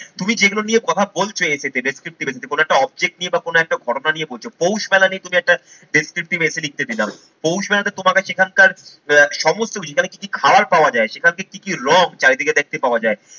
তুমি যেগুলো নিয়ে কথা বলছো essay তে descriptive essay কোন একটা objective নিয়ে বা কোন একটা ঘটনা নিয়ে বলছো। পৌষ মেলা নিয়ে তুমি একটা descriptive essay লিখতে দিলাম, পৌষ মেলাতে তোমার কাছে এখানকার আহ সমস্ত কিছু তাহলে কি কি খাওয়ার পাওয়া যায়, সেখান থেকে কি কি রং চারিদিকে দেখতে পাওয়া যায়